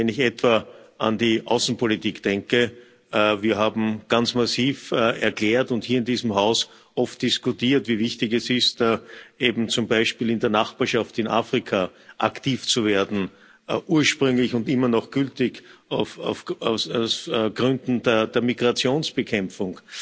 Wenn ich etwa an die Außenpolitik denke Wir haben ganz massiv erklärt und hier in diesem Haus oft diskutiert, wie wichtig es ist, eben zum Beispiel in der Nachbarschaft in Afrika aktiv zu werden, ursprünglich und immer noch gültig aus Gründen der Migrationsbekämpfung,